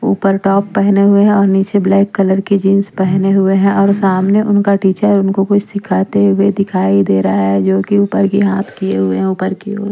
ऊपर टॉप पहने हुए हैं और नीचे ब्लैक कलर की जींस पहने हुए हैं और सामने उनका टीचर उनको कुछ सिखाते हुए दिखाई दे रहा है जो कि ऊपर की हाथ किए हुए हैं ऊपर की ओर।